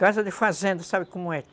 Casa de fazenda, sabe como é?